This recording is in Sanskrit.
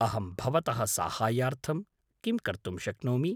अहं भवतः साहाय्यार्थं किं कर्तुं शक्नोमि ?